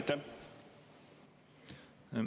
Aitäh!